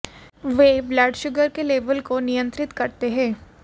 ये blood sugar के level को नियंत्रित करते हैं